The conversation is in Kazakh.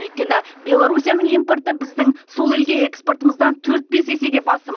өйткені беларусияның импорты біздің сол елге экспортымыздан төрт бес есеге басым